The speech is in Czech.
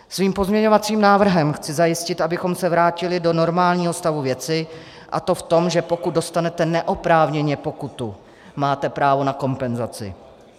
Svým pozměňovacím návrhem chci zajistit, abychom se vrátili do normálního stavu věci, a to v tom, že pokud dostanete neoprávněně pokutu, máte právo na kompenzaci.